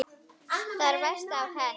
Það versta hafði hent.